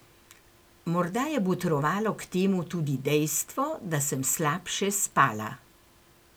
Morda je botrovalo k temu tudi dejstvo, da sem slabše spala.